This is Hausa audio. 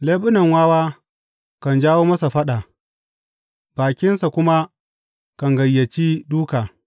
Leɓunan wawa kan jawo masa faɗa, bakinsa kuma kan gayyaci dūka.